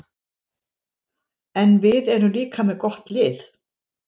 En við erum líka með gott lið.